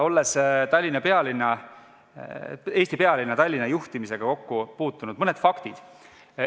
Olles Eesti pealinna, Tallinna juhtimisega kokku puutunud, ütlen mõned faktid.